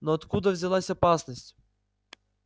но откуда взялась опасность